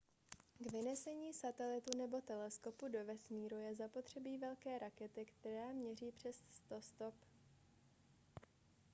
k vynesení satelitu nebo teleskopu do vesmíru je zapotřebí veliké rakety která měří přes 100 stop